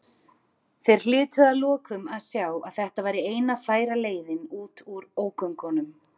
Þeir hlytu að lokum að sjá að þetta væri eina færa leiðin út úr ógöngunum.